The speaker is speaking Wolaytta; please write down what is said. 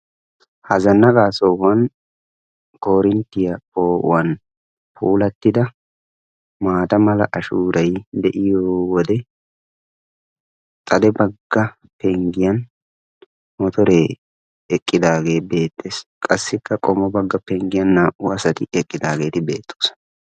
Ha zannaqqa sohuwaan korintriya poo'uwan puularrida maata mala ashshuuray de'iyo wode xade bagga penggiyan motore eqqidaagebeettees. Qassikka qommo bagga penggiyan naa"u asati eqqidaageeti beettoosona.